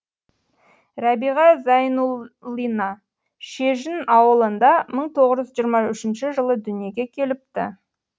рәбиға зайнул лина шежін ауылында мың тоғыз жүз жиырма үшінші жылы дүниеге келіпті